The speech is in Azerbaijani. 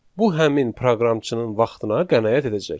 Bu həmin proqramçının vaxtına qənaət edəcək.